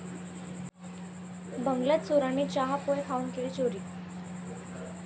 बंगल्यात चोरांनी चहा, पोहे खाऊन केली चोरी